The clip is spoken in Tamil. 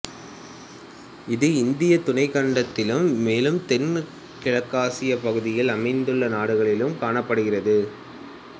இது இந்திய துணைக்கண்டத்திலும் மேலும் தென்கிழக்காசியப்பகுதியில் அமைந்துள்ள நாடுகளிலும் காணப்படுகிறது